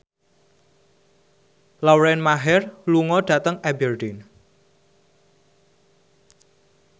Lauren Maher lunga dhateng Aberdeen